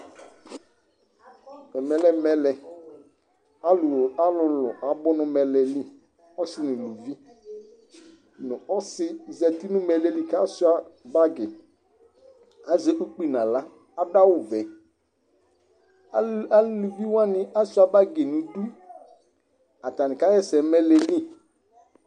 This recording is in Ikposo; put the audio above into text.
mɛlɛ dɩ lanʊtɛ alʊ abʊ nʊ mɛlɛ yɛ li, asinɩ nʊ eluvinɩ, ɔsɩ dɩ ta zati nʊ mɛlɛ yɛ li kʊ asuia itsuǝ, azɛ ukpi nʊ aɣla, adʊ awu vɛ, aluviwanɩ asuia itsuǝ nʊ idu, atanɩ ka ɣa ɛsɛ nʊ mɛlɛ yɛ li